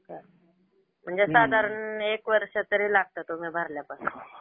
चालेल. म्हणजे साधारण एक वर्ष तरी लागतं तुम्ही भरल्यापासून.